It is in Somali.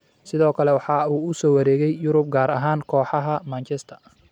Sidoo kale waxa uu u soo wareegay Yurub gaar ahaan kooxaha Manchester.